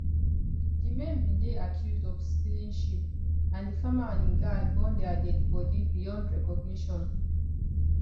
di men bin dey accused of stealing sheep and di farmer and im guard burn dia deadi bodi beyond recognition